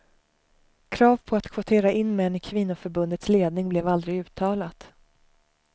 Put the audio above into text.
Krav på att kvotera in män i kvinnoförbundets ledning blev aldrig uttalat.